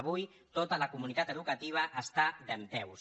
avui tota la comunitat educativa està dempeus